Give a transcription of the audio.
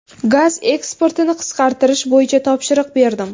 Gaz eksportini qisqartirish bo‘yicha topshiriq berdim.